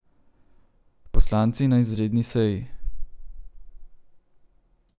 Poslanci na izredni seji.